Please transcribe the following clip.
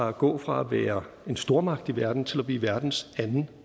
at gå fra at være en stormagt i verden til at blive verdens anden